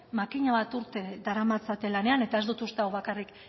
makina bat urte daramatzate lanean eta ez dut uste hau bakarrik